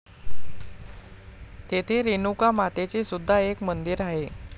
तेथे रेणुका मातेचे सुद्धा एक मंदिर आहे.